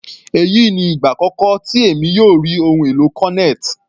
Èyí ni ìgbà àkọ́kọ́ tí èmi yóò rí ohun èlò cornet.